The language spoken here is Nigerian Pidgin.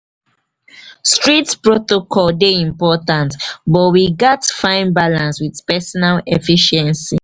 strict protocols dey important but we gats find balance with personal efficiency.